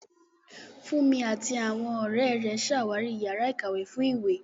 Funmi àti àwọn ọ̀rẹ́ rẹ̀ ṣàwárí yàrá ìkàwé fún ìwé.